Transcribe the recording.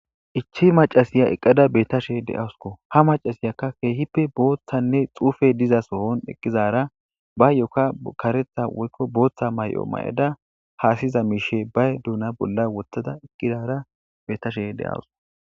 issi machashiya betashe de'aysko ha machashiya qaseka kehipe bottane xufey dizaso eqizara bayoka karetha woyko botha hasa'iza duna beko duna bolla wothada betashe de'aysu